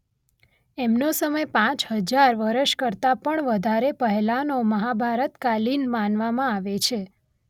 એમનો સમય પાંચ હજાર વર્ષ કરતાં પણ વધારે પહેલાંનો મહાભારતકાલીન માનવામાં આવે છે.